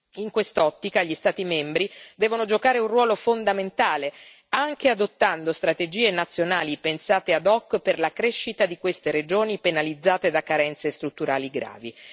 In quest'ottica, gli Stati membri devono giocare un ruolo fondamentale, anche adottando strategie nazionali pensate ad hoc per la crescita di queste regioni penalizzate da carenze strutturali gravi.